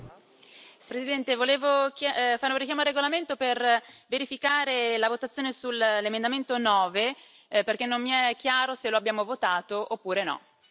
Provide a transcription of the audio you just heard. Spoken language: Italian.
Signora Presidente, onorevoli colleghi, volevo fare un richiamo al regolamento per verificare la votazione sull'emendamento 9, perché non mi è chiaro se lo abbiamo votato oppure no.